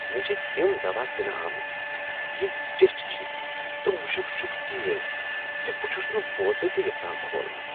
مےٚ چھ تِم دوا دنہ آمتۍ یِم ٹِیٹھۍ چھ تہٕ مشُک چُھکھ تیز زِ بہٕ چھس نہٕ بوتلہٕ تِہ یژھان کھولنِہ۔